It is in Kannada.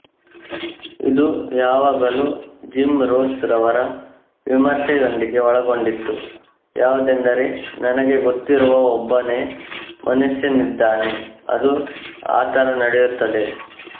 ಇದು ಯಾವಾಗಲೂ ಜಿಮ್ ರೊಸ್ ರವರ ವಿಮರ್ಶೆಯೊಂದಿಗೆ ಒಳಗೊಂಡಿತ್ತು ಯಾವುದೆಂದರೆ ನನಗೆ ಗೊತ್ತಿರುವ ಒಬ್ಬನೇ ಮನುಷ್ಯನಿದ್ದಾನೆ ಅದು ಆತರ ನಡೆಯುತ್ತದೆ